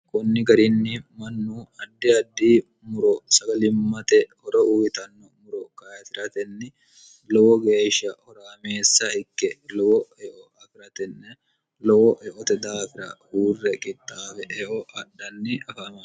kunni garinni mannu addi addi muro sagalimmate horo uyitanno muro kaytiratenni lowo geeshsha horaameessa hikke lowo eo afi'ratenne lowo eote daafira huurre qittaafe eo adhanni afano